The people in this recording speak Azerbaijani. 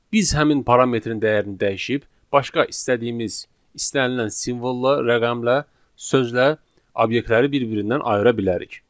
Biz həmin parametrinin dəyərini dəyişib başqa istədiyimiz istənilən simvolla, rəqəmlə, sözlə obyektləri bir-birindən ayıra bilərik.